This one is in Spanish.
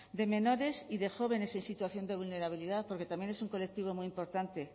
de menores y de jóvenes en situación de vulnerabilidad porque también es un colectivo muy importante